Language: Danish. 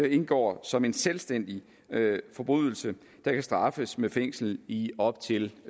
indgår som en selvstændig forbrydelse der kan straffes med fængsel i op til